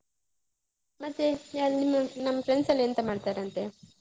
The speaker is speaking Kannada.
ಮತ್ತೆ ನಮ್ friends ಎಲ್ಲ ಎಂತ ಮಾಡ್ತಾರಂತೆ?